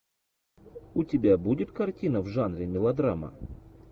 у тебя будет картина в жанре мелодрама